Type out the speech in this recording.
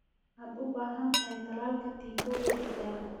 Waxaad u baahan tahay tallaalka tiifowga digaagga.